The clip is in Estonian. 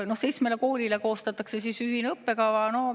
Seitsmele koolile koostatakse ühine õppekava.